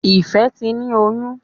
Ìfẹ sí ní oyún.